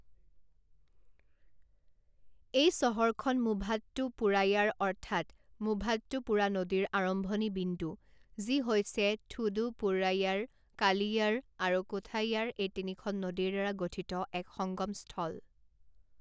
এই চহৰখন মুভাট্টুপুড়ায়াৰ অৰ্থাৎ মুভাট্টুপুড়া নদীৰ আৰম্ভণি বিন্দু যি হৈছে থোডুপুড়ায়াৰ কালিয়াৰ আৰু কোথায়াৰ এই তিনিখন নদীৰদ্বাৰা গঠিত এক সঙ্গমস্থল।